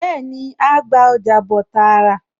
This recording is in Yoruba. Bẹ́ẹ̀ni, á á gba ọjà bọ̀ tààrà